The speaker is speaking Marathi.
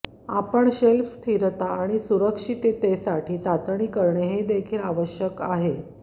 आपण शेल्फ स्थिरता आणि सुरक्षिततेसाठी चाचणी करणे देखील आवश्यक आहे